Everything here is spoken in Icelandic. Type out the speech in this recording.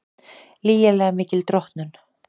Lygilega mikil drottnun